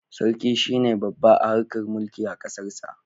Sarki shi ne babba a harkar mulki a kasarsa.